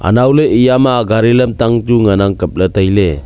anowley eya ma gari lamtang chu ngan ang kap ley tai ley.